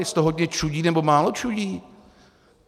Jestli to hodně čudí, nebo málo čudí?